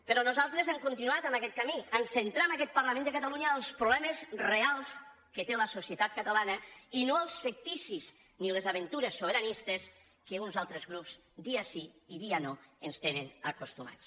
però nosaltres hem continuat amb aquest camí a centrar en aquest parlament de catalunya els problemes reals que té la societat catalana i no els ficticis ni les aventures sobiranistes a què uns altres grups dia sí i dia no ens tenen acostumats